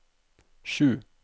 sju